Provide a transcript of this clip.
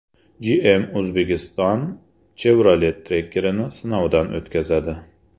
GM Uzbekistan Chevrolet Tracker’ni sinovdan o‘tkazadi.